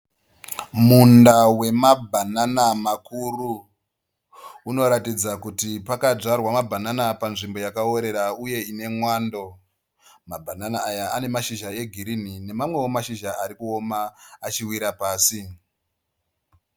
Munda wemabhanana makuru. Unoratidza kuti pakadzvarwa mabhanana panzvimbo yakaworera uye ine mwando. Mabhanana aya ane mashizha egirinhi nemamwewo mashizha ari kuoma achiwira pasi.